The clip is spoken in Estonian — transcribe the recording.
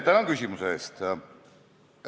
Tänan küsimuse eest!